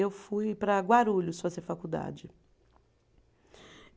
Eu fui para Guarulhos fazer faculdade.